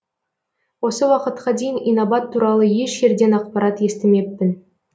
осы уақытқа дейін инабат туралы еш жерден ақпарат естімеппін